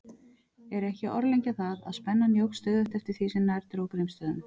Er ekki að orðlengja það, að spennan jókst stöðugt eftir því sem nær dró Grímsstöðum.